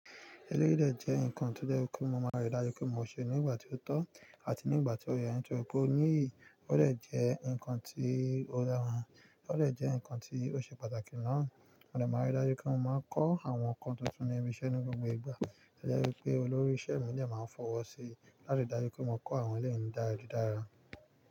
Eleyí de jẹ́ ǹkan, tó jẹ́ pé kí mo máa rí dájú pé mo ṣe nígbà tí ó tọ́ àti nígbà tí ó yẹ, ó de jẹ́ ǹkan tí ó dára, ó de jẹ́ ǹkan tí ó ṣe pàtàkì ná. Mo de màá rí dájú pé mo máa ń kọ́ àwọn ǹkan tuntun lenu iṣẹ́ ní gbogbo ìgbà. To jẹ́ wípé olórí ìṣe mi ní ẹ máa ń fọwọ́ sí láti dájú pé mo kọ́ àwọn eléyi daju dáradára.